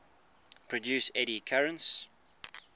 produce eddy currents